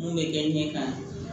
Mun bɛ kɛ ɲɛ kan